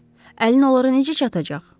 Əlin onlara necə çatacaq?